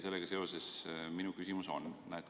Sellega seoses on minu küsimus selline.